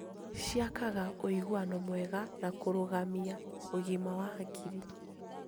Ciakaga ũiguano mwega na kũrũgamia ũgima wa hakiri.